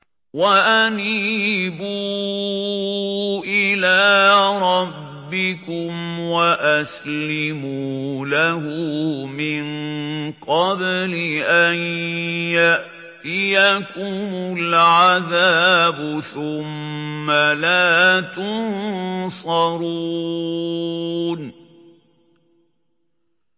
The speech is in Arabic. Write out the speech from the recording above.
وَأَنِيبُوا إِلَىٰ رَبِّكُمْ وَأَسْلِمُوا لَهُ مِن قَبْلِ أَن يَأْتِيَكُمُ الْعَذَابُ ثُمَّ لَا تُنصَرُونَ